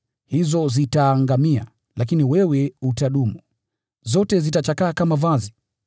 Hizo zitatoweka, lakini wewe utadumu; zote zitachakaa kama vazi.